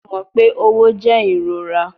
Ṣe o mọ pe õwo jẹ irora?